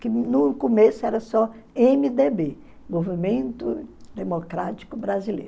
que no começo era só emê dê bê, Movimento Democrático Brasileiro.